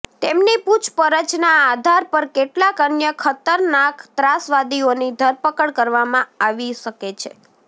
તેમની પુછપરછના આધાર પર કેટલાક અન્ય ખતરનાક ત્રાસવાદીઓની ધરપકડ કરવામાં આવી શકે છે